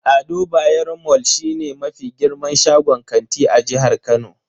Ado Bayero mall shine mafi girman shagon kanti a jihar Kano.